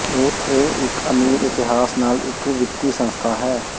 ਇਹ ਇੱਕ ਅਮੀਰ ਇਤਿਹਾਸ ਨਾਲ ਇੱਕ ਵਿੱਤੀ ਸੰਸਥਾ ਹੈ